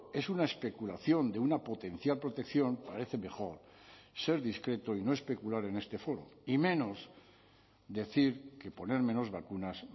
es una especulación de una potencial protección parece mejor ser discreto y no especular en este foro y menos decir que poner menos vacunas